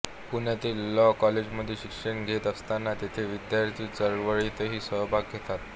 पुण्यातील लॉ कॉलेजमध्ये शिक्षण घेत असताना तेथे विद्यार्थी चळवळीतही सहभाग घेतला